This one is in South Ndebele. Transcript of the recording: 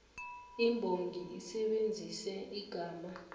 imbongi isebenzise igama